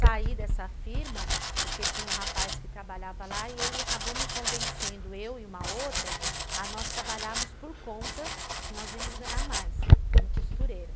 Saí dessa firma porque tinha um rapaz que trabalhava lá e ele acabou me convencendo, eu e uma outra, a nós trabalharmos por conta que nós íamos ganhar mais como costureira.